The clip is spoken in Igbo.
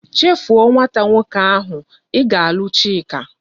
Chefu o nwata nwoke ahu! I ga alu chika!